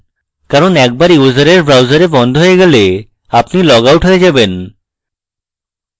কারণ একবার ইউসারের browser বন্ধ হয়ে গেলে আপনি লগ out হয়ে যাবেন